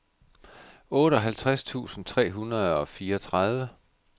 otteoghalvtreds tusind tre hundrede og fireogtredive